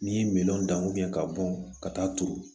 N'i ye minɛnw dan ka bɔn ka taa turu